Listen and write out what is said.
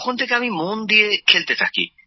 তখন থেকে আমি মন দিয়ে খেলতে থাকি